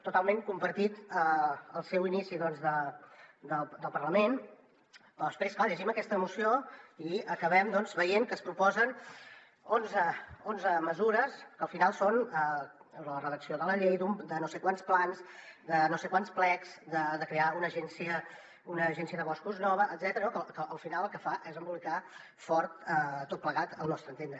totalment compartit el seu inici del parlament però després clar llegim aquesta moció i acabem veient que es proposen onze mesures que al final són la redacció de la llei de no sé quants plans de no sé quants plecs de crear una agència de boscos nova etcètera no que al final el que fa és embolicar ho fort tot plegat al nostre entendre